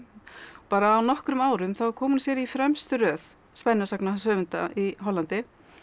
bara á nokkrum árum kom hún sér í fremstu röð í Hollandi